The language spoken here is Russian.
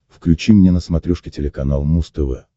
включи мне на смотрешке телеканал муз тв